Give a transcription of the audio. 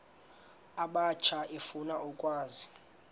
abatsha efuna ukwazi